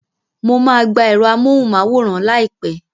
Mo máa gba ẹ̀rọ amóhùnmáwòrán láìpẹ́